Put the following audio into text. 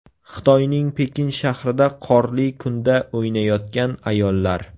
Xitoyning Pekin shahrida qorli kunda o‘ynayotgan ayollar.